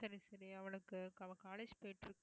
சரி சரி அவளுக்கு college போயிட்டிருக்கு